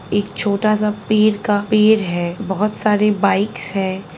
एक छोटा-सा पेर का पेड़ है बहोत सारे बाइकस है।